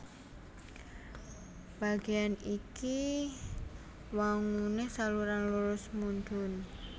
Bagéyan iki wanguné saluran lurus mudhun